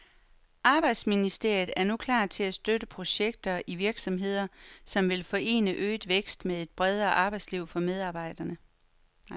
Arbejdsministeriet er nu klar til at støtte projekter i virksomheder, som vil forene øget vækst med et bedre arbejdsliv for medarbejderne.